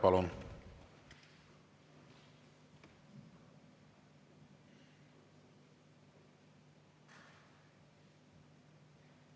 Palun!